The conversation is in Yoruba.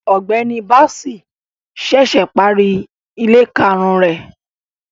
Ọgbẹni Bassey ṣẹṣẹ pari ile karun rẹ